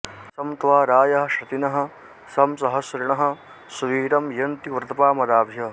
सं त्वा रायः शतिनः सं सहस्रिणः सुवीरं यन्ति व्रतपामदाभ्य